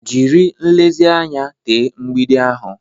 Jiri nlezianya tee mgbidi ahụ.